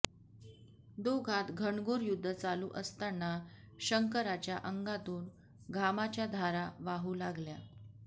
दोघांत घनघोर युद्ध चालू असताना शंकराच्या अंगातून घामाच्या धारा वाहू लागल्या